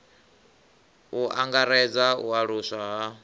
u angaredza u aluswa ha